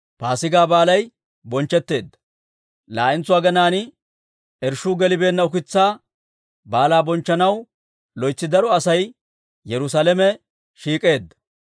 Laa"entso aginaan irshshuu gelibeenna ukitsaa Baalaa bonchchanaw loytsi daro Asay Yerusaalamen shiik'eedda.